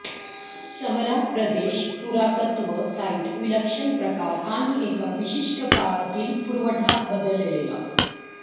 समरा प्रदेश पुरातत्व साइट विलक्षण प्रकार आणि एका विशिष्ट काळातील पुरवठा बदलेला